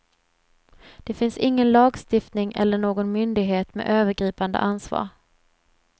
Det finns ingen lagstiftning eller någon myndighet med övergripande ansvar.